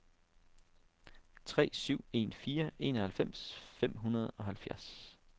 tre syv en fire enoghalvfems fem hundrede og halvfjerds